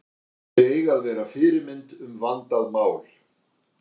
Þeir eiga að vera fyrirmynd um vandað mál.